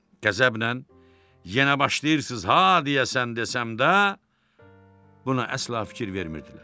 Qəzəblə yenə başlayırsınız ha, deyəsən desəm də, buna əsla fikir vermirdilər.